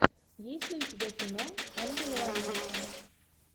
есть ли у тебя кино ангел в америке